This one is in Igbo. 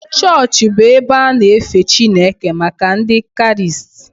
Chọọchị bụ ebe a na-efe Chineke maka Ndị Kraịst